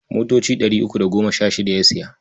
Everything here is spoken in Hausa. Motoci ɗari uku da goma sha shida ya saya.